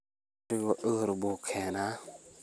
Khamrigu cudur buu keenaa.